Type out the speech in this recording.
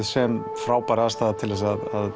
sem frábær aðstaða til að